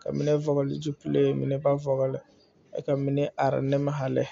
ka mine vɔgli zupile mine ba vɔgli kyɛ ka mine are nimaalɛ.